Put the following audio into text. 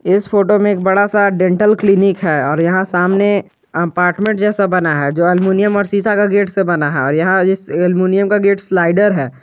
इस फोटो में एक बड़ा सा डेंटल क्लिनिक है और यहां सामने अपार्टमेंट जैसा बना है जो एल्मुनियम और शीशा का गेट से बना है और यहां एलमुनियम का गेट स्लाइडर है।